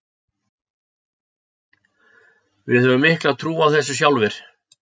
Við höfum mikla trú á þessu sjálfir.